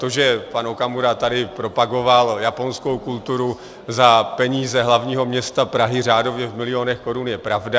To, že pan Okamura tady propagoval japonskou kulturu za peníze hlavního města Prahy řádově v milionech korun, je pravda.